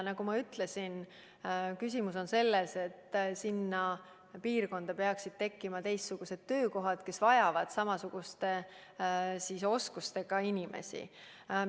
Nagu ma ütlesin, küsimus on selles, et sinna piirkonda peaksid tekkima teistsugused töökohad, mis vajavad samasuguste oskustega inimesi.